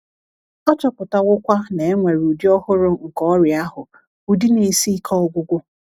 A chọpụtawokwa na e nwere ụdị ọhụrụ nke ọrịa ahụ — ụdị na - esi ike ọgwụgwọ.